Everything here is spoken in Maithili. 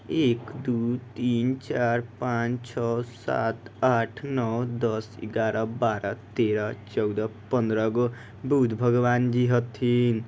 एक दो तीन चार पाँच छ सात आठ नव दस ग्यारह बारह तेरह चौदह पंद्रहगो बुद्ध भगवान हथीन।